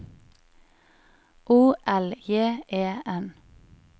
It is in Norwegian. O L J E N